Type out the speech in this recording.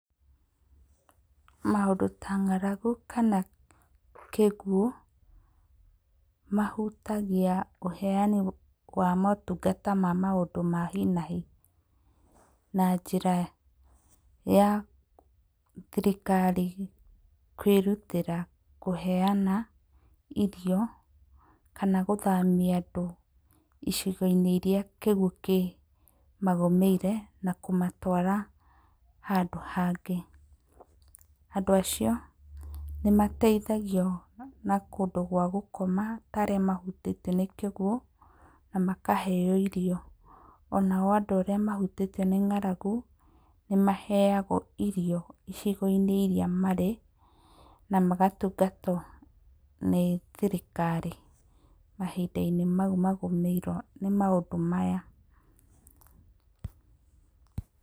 Maũndũ ta ng'aragu kana kĩguũ mahutagia ũheani wa motungata ta ma maũndũ ma hi na hi na njĩra ya thirikari kwĩrutĩra kũheana irio kana gũthamia andũ icigo-inĩ iria kĩguũ kĩmagũmĩire na kũmatwara handũ hangĩ. Andũ acio nĩ mateithagio na kũndũ gwa gũkoma ta arĩa mahutĩtio nĩ kĩguũ na makaheo irio. Onao andũ arĩa mahutĩtio nĩ ng'aragu, nĩ maheagwo irio icigo-inĩ iria marĩ na magatungatwo nĩ thirikari mahinda-inĩ mau magũmĩirwo nĩ maũndũ maya.